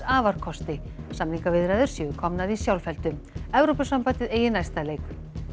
afarkosti samningaviðræður séu komnar í sjálfheldu Evrópusambandið eigi næsta leik